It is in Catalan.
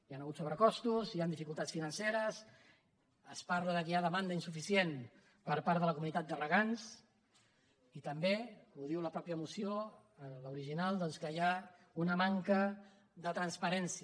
hi han hagut sobrecostos hi han dificultats financeres es parla que hi ha demanda insuficient per part de la comunitat de regants i també ho diu la mateixa moció l’original doncs que hi ha una manca de transparència